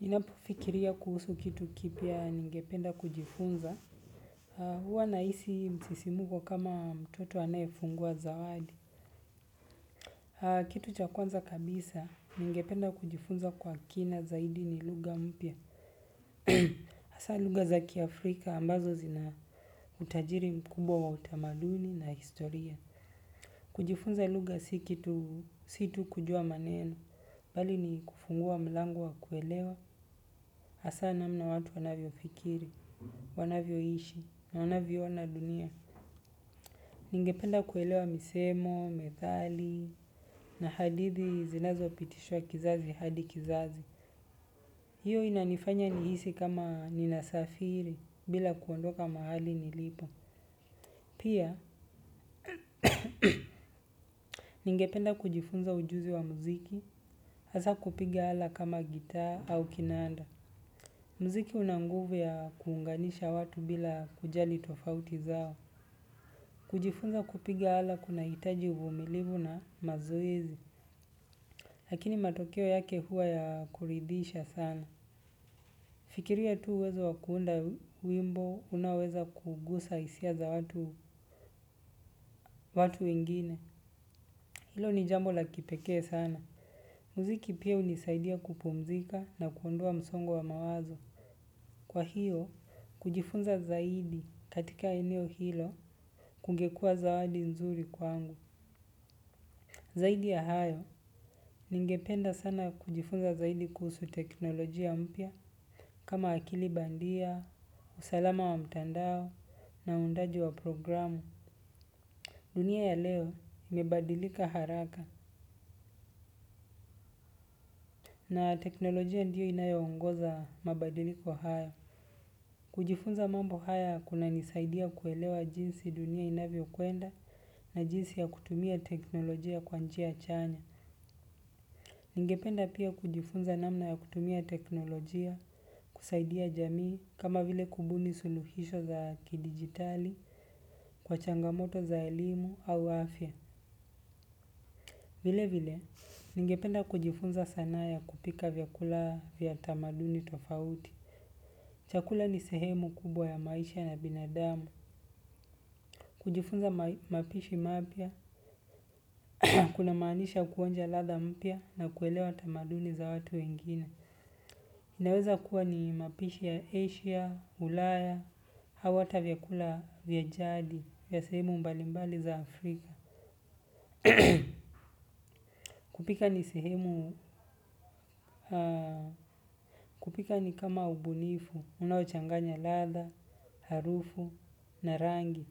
Ninapofikiria kuhusu kitu kipya ningependa kujifunza. Huwa nahisi msisimko kama mtoto anayefungua zawadi. Kitu cha kwanza kabisa ningependa kujifunza kwa kina zaidi ni lugha mpya. Hasa lugha za kiafrika ambazo zina utajiri mkubwa wa utamaduni na historia. Kujifunza lugha si tu kujua maneno. Bali ni kufungua mlango wa kuelewa. Hasa namna watu wanavyofikiri. Wanavyoishi na wanavyoona dunia. Ningependa kuelewa misemo, methali, na hadithi zinazopitishwa kizazi hadi kizazi. Hiyo inanifanya nihisi kama ninasafiri bila kuondoka mahali nilipo. Pia, ningependa kujifunza ujuzi wa muziki, hasa kupiga ala kama gitaa au kinanda. Muziki una nguvu ya kuunganisha watu bila kujali tofauti zao. Kujifunza kupiga ala kunahitaji umilivu na mazoezi, lakini matokeo yake huwa ya kuridhisha sana. Fikiria tu uwezo wa kuunda wimbo unaoweza kugusa hisia za watu wengine. Hilo ni jambo la kipekee sana. Muziki pia hunisaidia kupumzika na kuondoa msongo wa mawazo. Kwa hiyo, kujifunza zaidi katika eneo hilo kungekuwa zawadi nzuri kwangu. Zaidi ya hayo, ningependa sana kujifunza zaidi kuhusu teknolojia mpya kama akili bandia, usalama wa mtandao na uundaji wa programu. Dunia ya leo imebadilika haraka na teknolojia ndiyo inayoongoza mabadiliko hayo. Kujifunza mambo haya kunanisaidia kuelewa jinsi dunia inavyokwenda na jinsi ya kutumia teknolojia kwa njia chanya. Ningependa pia kujifunza namna ya kutumia teknolojia kusaidia jamii kama vile kubuni suluhisho za kidijitali kwa changamoto za elimu au afya. Vile vile, ningependa kujifunza sanaa ya kupika vyakula vya tamaduni tofauti. Chakula ni sehemu kubwa ya maisha ya binadamu. Kujifunza mapishi mapya, kunamaanisha kuonja ladha mpya na kuelewa tamaduni za watu wengine. Inaweza kuwa ni mapishi ya Asia, ulaya, au hata vyakula vya jadi, vya sehemu mbalimbali za Afrika. Kupika ni sehemu, kupika ni kama ubunifu, unaochanganya ladha, harufu, na rangi,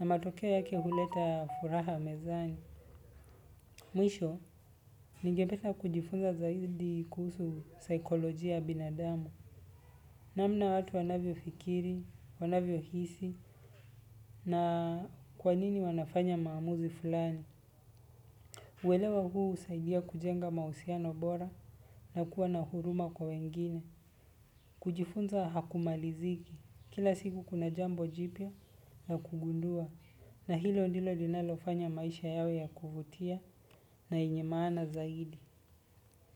na matokeo yake huleta furaha mezani. Mwisho, ningependa kujifunza zaidi kuhusu saikolojia ya binadamu. Namna watu wanavyofikiri, wanavyohisi na kwanini wanafanya maamuzi fulani. Uelewa huu husaidia kujenga mahusiano bora na kuwa na huruma kwa wengine. Kujifunza hakumaliziki. Kila siku kuna jambo jipya na kugundua. Na hilo ndilo linalofanya maisha yawe ya kuvutia na yenye maana zaidi.